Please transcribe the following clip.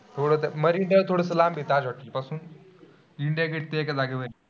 थोडंस Marine Drive थोडंस लांब आहे ताज हॉटेल ते पासून इंडिया गेट ते एका जागेवर आहे.